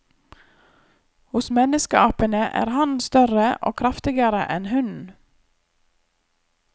Hos menneskeapene er hannen større og kraftigere enn hunnen.